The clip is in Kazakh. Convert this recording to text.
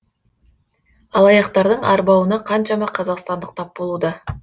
алаяқтардың арбауына қаншама қазақстандық тап болуда